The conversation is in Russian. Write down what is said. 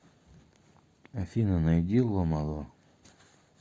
афина найди ло мало